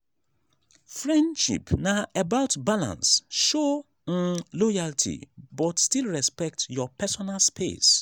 friendship na about balance show um loyalty but still respect your personal space.